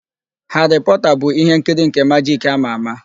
Haarị Pọọta bụ ihe nkiri nke majik ámà ámà.